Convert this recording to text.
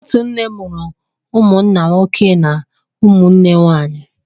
Otu nne mụrụ umụnna nwoke na ụmụnne nwanyị